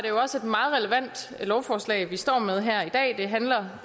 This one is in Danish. jo også et meget relevant lovforslag vi står med her i dag det handler